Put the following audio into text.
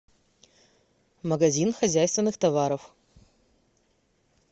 магазин хозяйственных товаров